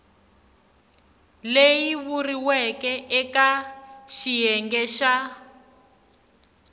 leyi vuriweke eka xiyenge xa